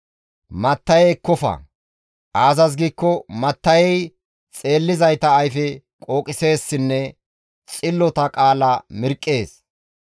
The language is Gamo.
«Matta7e ekkofa; aazas giikko matta7ey xeellizayta ayfe qooqiseessinne xillota qaala mirqqees.